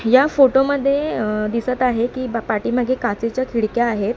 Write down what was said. या फोटो मध्ये दिसत आहे की ब पाठीमागे काचेच्या खिडक्या आहेत.